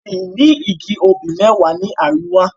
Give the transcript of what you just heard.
Ọkùnrin yìí ní igi obì mẹ́wàá ní àríwá.